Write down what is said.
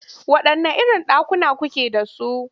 Waɗanne irin ɗakuna kuke da su?